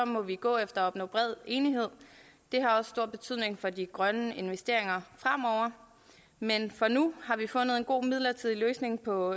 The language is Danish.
må vi gå efter at opnå bred enighed det har også stor betydning for de grønne investeringer fremover men og nu har vi fundet en god midlertidig løsning for